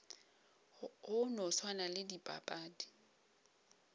go no swana le dipapadi